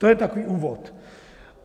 To je takový úvod.